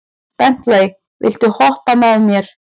Bentley, viltu hoppa með mér?